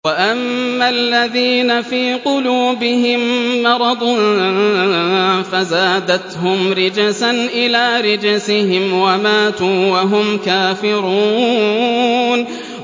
وَأَمَّا الَّذِينَ فِي قُلُوبِهِم مَّرَضٌ فَزَادَتْهُمْ رِجْسًا إِلَىٰ رِجْسِهِمْ وَمَاتُوا وَهُمْ كَافِرُونَ